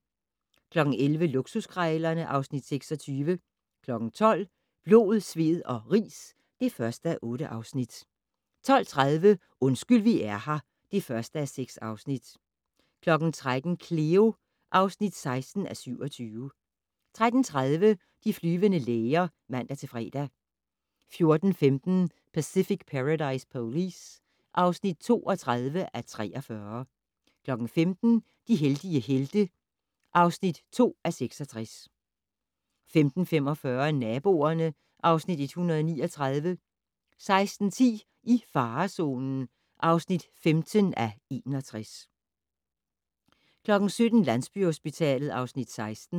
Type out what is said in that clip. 11:00: Luksuskrejlerne (Afs. 26) 12:00: Blod, sved og ris (1:8) 12:30: Undskyld vi er her (1:6) 13:00: Cleo (16:27) 13:30: De flyvende læger (man-fre) 14:15: Pacific Paradise Police (32:43) 15:00: De heldige helte (2:66) 15:45: Naboerne (Afs. 139) 16:10: I farezonen (15:61) 17:00: Landsbyhospitalet (Afs. 16)